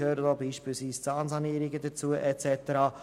Gehören beispielsweise Zahnsanierungen und so weiter dazu?